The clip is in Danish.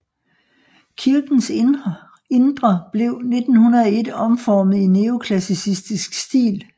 Kirkens indre blev 1901 omformet i neoklassicistisk stil